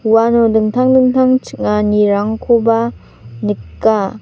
uano dingtang dingtang ching·anirangkoba nika.